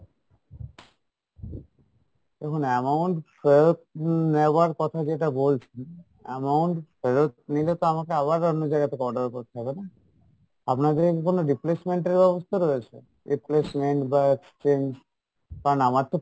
দেখুন amount ফেরত নেওয়ার কথা যেটা বলছেন amount ফেরত নিলে তো আমাকে আবার অন্য জায়গা থেকে order করতে হবে না? আপনাদের কী কোনো replacement এর ব্যাবস্থা রয়েছে? replacement বা exchange? কারণ আমার তো